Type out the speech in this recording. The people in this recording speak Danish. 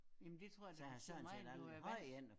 Jamen det tror jeg da som regel du er vandt